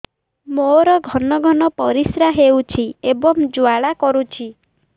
ମୋର ଘନ ଘନ ପରିଶ୍ରା ହେଉଛି ଏବଂ ଜ୍ୱାଳା କରୁଛି